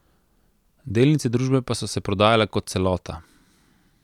Delnice družbe pa so se prodajale kot celota.